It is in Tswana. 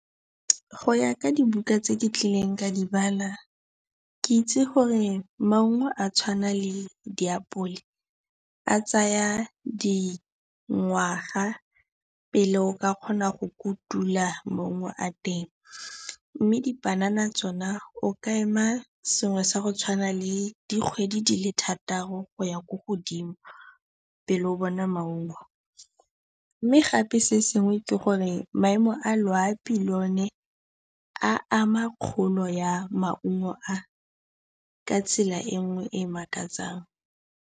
Go ya ka dibuka tse ke kileng ka di bala, ke itse gore maungo a tshwana le diapole a tsaya dingwaga pele o ka kgona go kotula maungo a teng mme dipanana tsona o ka ema sengwe sa go tshwana le dikgwedi di le thataro go ya ko godimo pele o bona maungo. Mme gape se sengwe ke gore maemo a loapi le one a ama kgolo ya maungo a ka tsela e nngwe e e makatsang.